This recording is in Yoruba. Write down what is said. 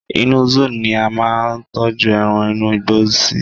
inú zoo ni a ma n tọju eran inú igbó sí